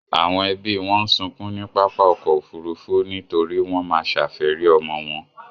Àwọn ẹbí wọn ń sunkún ní pápá ọkọ̀ Òfurufú nítorí wọ́n má ṣàfẹ́rí ọmọ wọn.